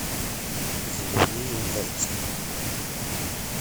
заливные яйца